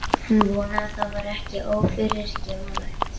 Hann vonaði það væri ekki ófyrirgefanlegt.